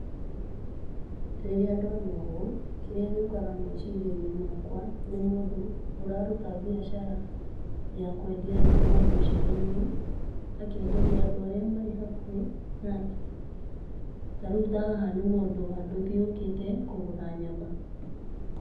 Rĩrĩa ndona ũũ kĩrĩa gĩũkaga meciri-inĩ makwa nĩ mũndũ ũraruta mbiacara ya kwendia nyama mbucĩrĩ-inĩ. Akenderia andũ arĩa marĩ hakuhĩ nake ta rĩu ta haha nĩ mũndũ wa ndũthi ũkĩte kũgũra nyama.